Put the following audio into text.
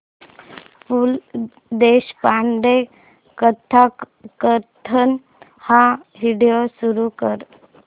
पु ल देशपांडे कथाकथन हा व्हिडिओ सुरू कर